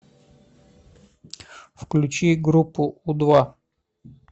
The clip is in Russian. включи группу у два